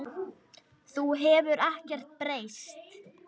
Þú hefur ekkert breyst.